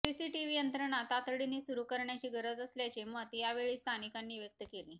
CCTV यंत्रणा तातडीने सुरू करण्याची गरज असल्याचे मत यावेळी स्थानिकांनी व्यक्त केले